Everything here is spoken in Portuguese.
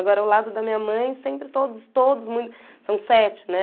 Agora, ao lado da minha mãe, sempre todos, todos muito... São sete, né?